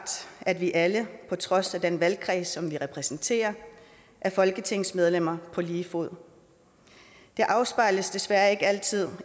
at vi alle på trods af den valgkreds som vi repræsenterer er folketingsmedlemmer på lige fod det afspejles desværre ikke altid